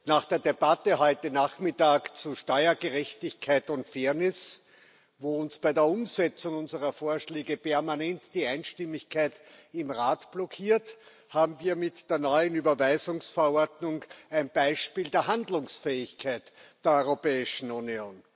Nach der Debatte heute Nachmittag zu Steuergerechtigkeit und Fairness, wo uns bei der Umsetzung unserer Vorschläge permanent die Einstimmigkeit im Rat blockiert, haben wir mit der neuen Überweisungsverordnung ein Beispiel der Handlungsfähigkeit der Europäischen Union.